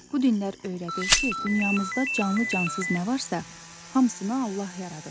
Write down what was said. Bu dinlər öyrədir ki, dünyamızda canlı-cansız nə varsa, hamısını Allah yaradıb.